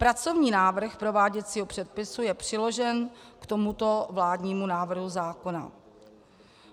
Pracovní návrh prováděcího předpisu je přiložen k tomuto vládnímu návrhu zákona.